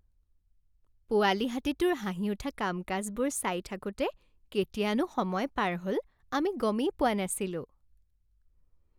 পোৱালি হাতীটোৰ হাঁহি উঠা কাম কাজবোৰ চাই থাকোঁতে কেতিয়ানো সময় পাৰ হ'ল আমি গমেই পোৱা নাছিলোঁ।